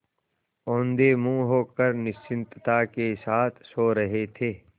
औंधे मुँह होकर निश्चिंतता के साथ सो रहे थे